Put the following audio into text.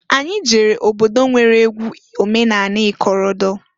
Anyị jere obodo nwere egwu omenani ikorodo.